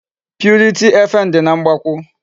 Purity FM dị na Mgbakwụ.